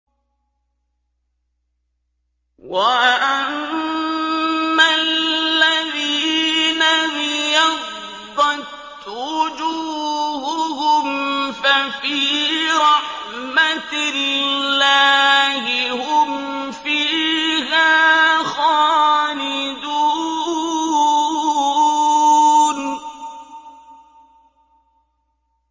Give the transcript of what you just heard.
وَأَمَّا الَّذِينَ ابْيَضَّتْ وُجُوهُهُمْ فَفِي رَحْمَةِ اللَّهِ هُمْ فِيهَا خَالِدُونَ